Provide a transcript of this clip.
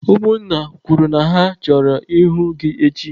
Ụmụ nna kwuru na ha chọrọ ịhụ gị echi!